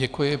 Děkuji.